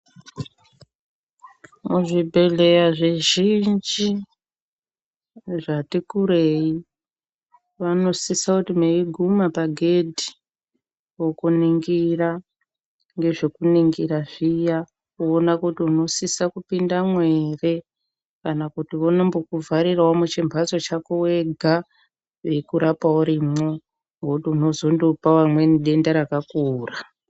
Muzvibhodhlera zvizhinji zvatikurei vanosisw kuti meiguma pagedhi vakuningira ngazvekuningira zviya kuona kuti unosisa kupindamwo ere kana kuti vanobhokuvharirawo muchimbatso chako wega veikurapa urimwe nekuti unozondopa amweni denda rakakura.